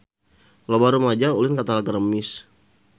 Loba rumaja ulin ka Talaga Remis